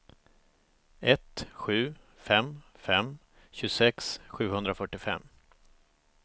ett sju fem fem tjugosex sjuhundrafyrtiofem